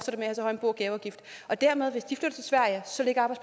bo og gaveafgift dermed